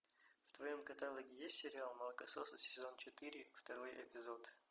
в твоем каталоге есть сериал молокососы сезон четыре второй эпизод